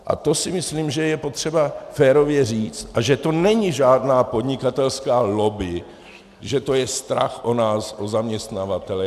A to si myslím, že je potřeba férově říct, a že to není žádná podnikatelská lobby, že to je strach o nás, o zaměstnavatele.